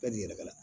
Bɛɛ b'i yɛrɛ la